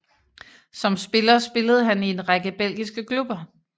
Som spiller spillede han i en række belgiske klubber